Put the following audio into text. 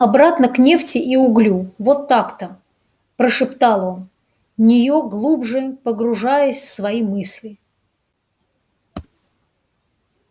обратно к нефти и углю вот так-то прошептал он неё глубже погружаясь в свои мысли